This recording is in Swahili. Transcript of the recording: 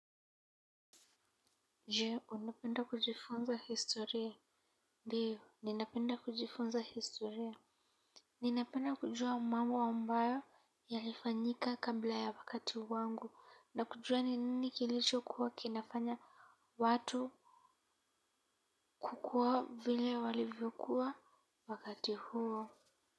Je, unapenda kujifunza historia? Ndio, ninapenda kujifunza historia. Ninapenda kujua mambo ambayo yalifanyika kabla ya wakati wangu. Na kujua ni nini kilicho kuwa kinafanya watu kukua vile walivyokuwa wakati huo.